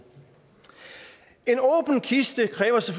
kiste kræver